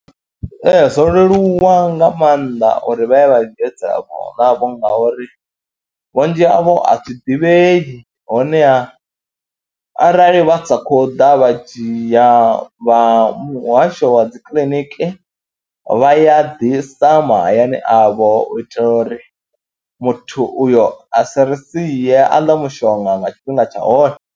Ee, zwo leluwa nga maanḓa uri vha ye vha dzhi dzi ARV ngauri vhunzhi havho a zwi ḓivhei honeha arali vha sa khou ḓa vha dzhia vha muhasho wa dzi kiḽiniki vha ya ḓisa mahayani avho u itela uri muthu uyo a sa ri sie, a ḽe mushonga nga tshifhinga tsha hone.